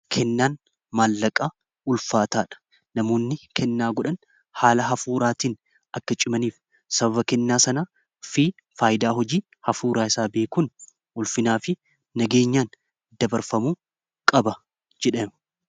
kennaan maallaqaa ulfaataa dha namoonni kennaa godhan haala hafuuraatiin akka cimaniif sababa kennaa sana fi faayidaa hojii hafuuraa isaa beekun ulfinaa fi nageenyaan dabarfamu qaba jedhen